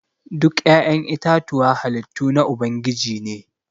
Duk ya'yan itatuwa halittu na ubangiji ne.